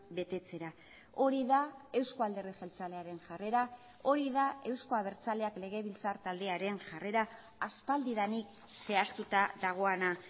betetzera hori da euzko alderdi jeltzalearen jarrera hori da euzko abertzaleak legebiltzar taldearen jarrera aspaldidanik zehaztuta dagoena